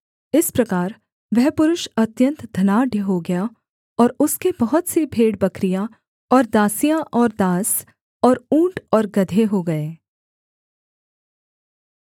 इस प्रकार वह पुरुष अत्यन्त धनाढ्य हो गया और उसके बहुत सी भेड़बकरियाँ और दासियाँ और दास और ऊँट और गदहे हो गए